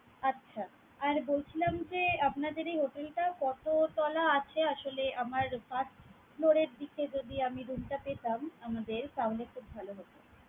আচ্ছা! আর বলছিলাম যে, আপনাদের এই hotel টা কত তলা আছে? আসলে আমার buth floor এর দিকে যদি আমি room টা পেতাম আমাদের তাহলে খুব ভালো হোত।